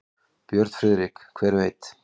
Björn Friðrik: Hver veit.